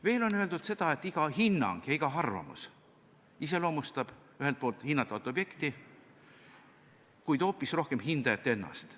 Veel on öeldud seda, et iga hinnang, iga arvamus iseloomustab ühelt poolt hinnatavat objekti, kuid hoopis rohkem hindajat ennast.